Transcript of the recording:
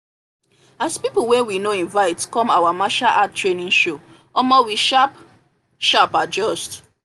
as people wey we no invite come our martial art training show omo we sharp sharp adjust